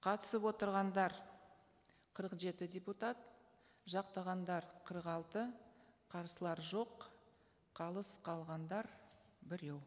қатысып отырғандар қырық жеті депутат жақтағандар қырық алты қарсылар жоқ қалыс қалғандар біреу